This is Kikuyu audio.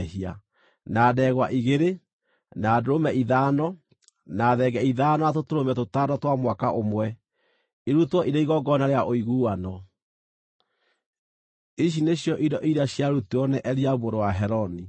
na ndegwa igĩrĩ, na ndũrũme ithano, na thenge ithano na tũtũrũme tũtano twa mwaka ũmwe, irutwo irĩ igongona rĩa ũiguano. Ici nĩcio indo iria ciarutirwo nĩ Eliabu mũrũ wa Heloni.